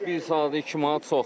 Bir saata 2 manat çoxdur.